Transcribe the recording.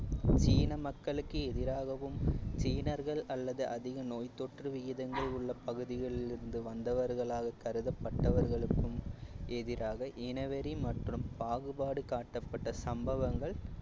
சீன மக்களுக்கு எதிராகவும் சீனர்கள் அல்லது அதிக நோய் தோற்று விகிதங்கள் உள்ள பகுதிகளில் இருந்து வந்தவர்களாக கருதப்பட்டவர்களுக்கும் எதிராக இனவெறி மற்றும் பாகுபாடு காட்டப்பட்ட சம்பவங்கள்